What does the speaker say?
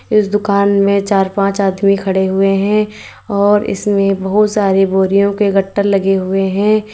इस दुकान में चार पांच आदमी खड़े हुए हैं और इसमें बहुत सारे बोरियों के गट्टर लगे हुए हैं।